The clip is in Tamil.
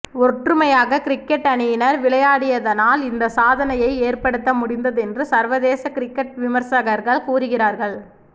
ஒற்றுமையாக கிரிக்கட் அணியினர் விளையாடியதனால் இந்த சாதனையை ஏற்படுத்த முடிந்ததென்று சர்வதேச கிரிக்கட் விமர்சகர்கள் கூறுகிறார்கள்